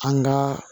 An ka